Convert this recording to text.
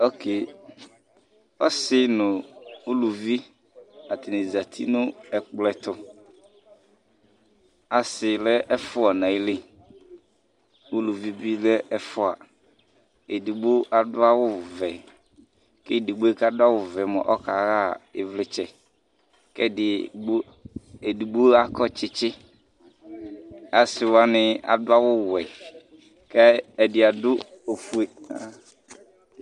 okee, ɔsi nu uluvi ata ni zati nu ɛkplɔɛ tu, asi lɛ ɛfʋa nu ayili, uluvi bi lɛ ɛfʋa, edigbo adu awu vɛ, ku edigboe bʋa ku adu awu vɛ yɛ mʋa ɔka ɣa ivlitsɛ, ku edigbo akɔ tsitsi, asi wʋani adu awu wɛ kɛ ɛdi adu ofue